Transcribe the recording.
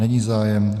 Není zájem.